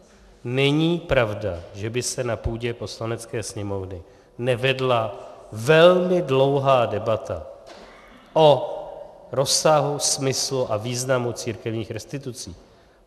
Není pravda, že by se na půdě Poslanecké sněmovny nevedla velmi dlouhá debata o rozsahu, smyslu a významu církevních restitucí.